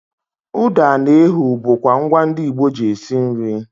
ụda na ehu bụkwa ngwa ndị Igbo ji esi nri